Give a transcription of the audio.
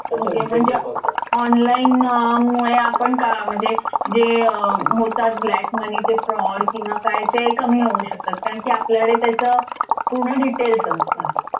Okay म्हणजे online मुळे आपण का म्हणजे जे होतात ब्लॅक मनीचे फ्रॉड किंवा काय ते कमी होऊ शकतात. कारण कि आपल्याकडे त्याचं पूर्ण डिटेलस असतं